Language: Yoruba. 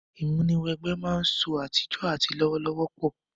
Ìmúw'ẹgbẹ́ máa ń sọ àtijọ́ àti lọ́wọ́lọ́wọ́ pọ̀